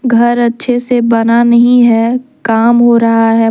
घर अच्छे से बना नहीं है काम हो रहा है।